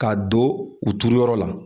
Ka don u turu yɔrɔ la